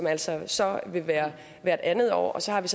altså så vil være hvert anden år og så har vi